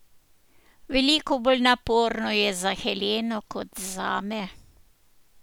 Veliko bolj naporno je za Heleno kot zame.